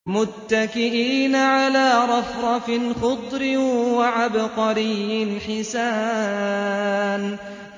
مُتَّكِئِينَ عَلَىٰ رَفْرَفٍ خُضْرٍ وَعَبْقَرِيٍّ حِسَانٍ